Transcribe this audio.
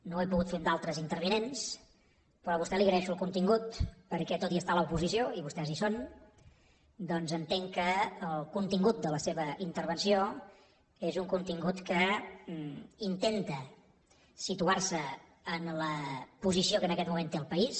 no ho he pogut fer amb altres intervinents però a vostè li agraeixo el contingut perquè tot i estar a l’oposició i vostès hi són doncs entenc que el contingut de la seva intervenció és un contingut que intenta situar se en la posició que en aquest moment té el país